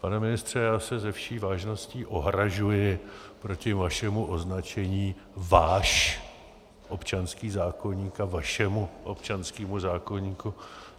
Pane ministře, já se se vší vážností ohrazuji proti vašemu označení váš občanský zákoník a vašemu občanskému zákoníku.